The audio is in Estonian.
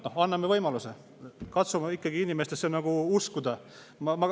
Noh, anname võimaluse, katsume ikkagi inimestesse uskuda.